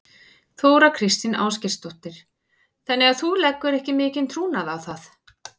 Þóra Kristín Ásgeirsdóttir: Þannig að þú leggur ekki mikinn trúnað á það?